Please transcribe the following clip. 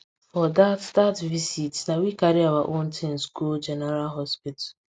for that that visit na we carry our own things go general hospital